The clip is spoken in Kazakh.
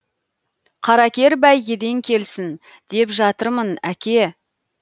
қаракер бәйгеден келсін деп жатырмын әке